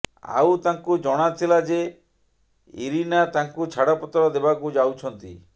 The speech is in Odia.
ଆଉ ତାଙ୍କୁ ଜଣାଥିଲା ଯେ ଇରିନା ତାଙ୍କୁ ଛାଡ଼ପତ୍ର ଦେବାକୁ ଯାଉଛନ୍ତି